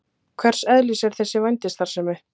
Hvers eðlis er þessi vændisstarfsemi?